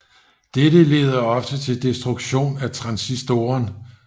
Dette leder ofte til destruktion af transistoren